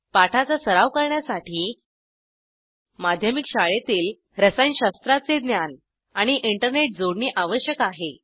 पाठाचा सराव करण्यासाठी माध्यमिक शाळेतील रसायनशास्त्राचे ज्ञान आणि इंटरनेट जोडणी आवश्यक आहे